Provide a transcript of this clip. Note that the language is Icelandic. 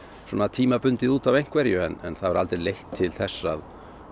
svona tímabundið út af einhverju en það hefur aldrei leitt til þess að